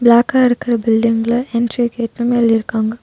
பிளாக்கா இருக்குற பில்டிங்க்ல என்ட்ரி கேட்னு எழுதிருக்காங்க.